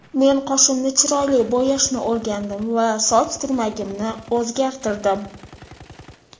Men qoshimni chiroyli bo‘yashni o‘rgandim va soch turmagimni o‘zgartirdim”.